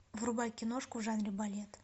врубай киношку в жанре балет